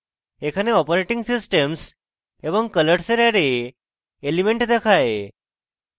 এখানে operating _ systems এবং colors এর অ্যারে elements দেখায়